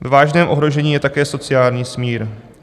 Ve vážném ohrožení je také sociální smír.